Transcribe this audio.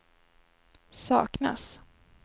saknas